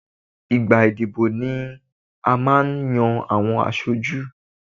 Ìgbà ìdìbò ni a máa n yan àwọn aṣojú